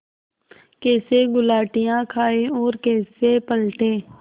कैसे गुलाटियाँ खाएँ और कैसे पलटें